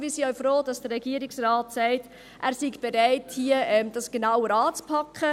Wir sind auch froh, dass der Regierungsrat sagt, er sei bereit, dies genauer anzupacken.